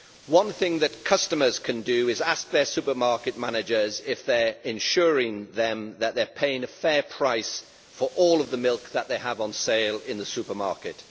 One thing that customers can do is ask their supermarket managers if they are ensuring that they are paying a fair price for all of the milk that they have on sale in the supermarket.